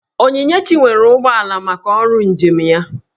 Onyinyechi nwere ụgbọala maka ọrụ njem ya